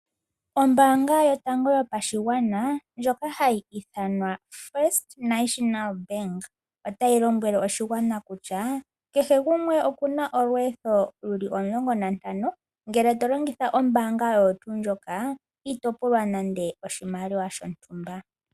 Ombaanga yotango yopashigwana ndjoka hayi ithanwa First National Bank, otayi lombwele oshigwana kutya, kehe gumwe okuna olweetho luli omulongo nantano. Ngele tolongitha ombaanga oyo tuu ndjoka, ito pulwa nande oshimaliwa shasha.